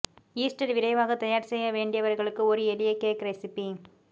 Easter விரைவாக தயார் செய்ய வேண்டியவர்களுக்கு ஒரு எளிய கேக் ரெசிபி